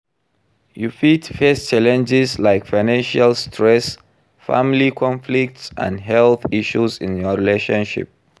You fit face challenges like financial stresss, family conflicts and health issues in your relationship.